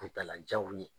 Kuntala janw ye